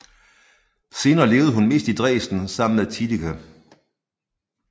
Senere levede hun mest i Dresden sammen med Tiedge